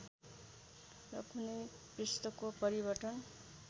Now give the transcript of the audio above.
र कुनै पृष्ठको परिवर्तन